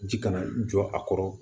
Ji kana jɔ a kɔrɔ